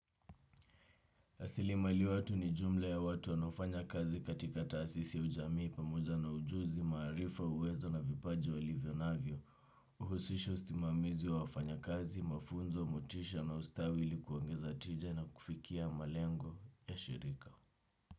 Asilimali watu ni jumla ya watu wanaofanya kazi katika taasisi ya ujamii pamoja na ujuzi, maarifa uwezo na vipaji wa livyonavyo, uhusisha usimamizi wa wafanya kazi, mafunzo, motisha na ustawi ilikuongeza tija na kufikia malengo ya shirika.